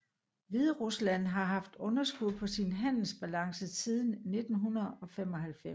Hviderusland har haft underskud på sin handelsbalance siden 1995